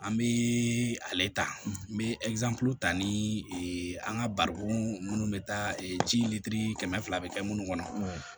An bɛ ale ta n bɛ ta ni an ka barikon minnu bɛ taa ji kɛmɛ fila bɛ kɛ minnu kɔnɔ